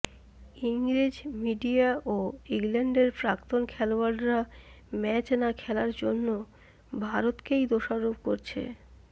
ইংরেজ মিডিয়া ও ইংল্যান্ডের প্রাক্তন খেলোয়াড়রা ম্যাচ না খেলার জন্য ভারতকেই দোষারোপ করছে